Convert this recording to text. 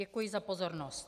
Děkuji za pozornost.